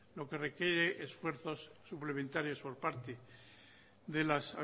lo que requiere esfuerzos suplementarios por parte de las